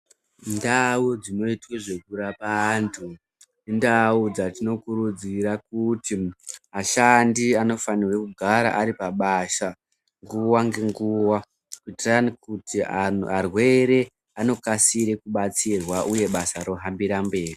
Ndau ndzinoitwe zvekurapa antu, indau dzatinokurudzira kuti ashandi anofanirwe kugara aripabasa nguva ngenguva kuitirani kuti antu arwere anokasire kubatsirwa basa rohambira mberi.